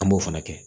An b'o fana kɛ